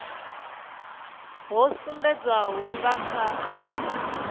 ho sumbedzwaho hu nga kha